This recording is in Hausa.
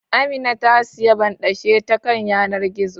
Amina ta siyi banɗashe ta kan yanar gizo